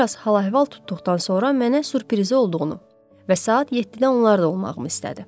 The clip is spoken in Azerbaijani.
Bir az hal-əhval tutduqdan sonra mənə sürprizi olduğunu və saat 7-də onlarda olmağımı istədi.